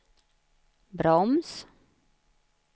broms